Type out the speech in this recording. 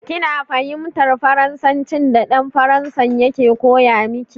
Kina fahimtar Faransancin da dan Faransan yake koya miki?